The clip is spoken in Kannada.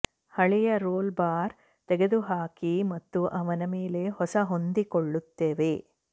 ಹಳೆಯ ರೋಲ್ ಬಾರ್ ತೆಗೆದುಹಾಕಿ ಮತ್ತು ಅವನ ಮೇಲೆ ಹೊಸ ಹೊಂದಿಕೊಳ್ಳುತ್ತವೆ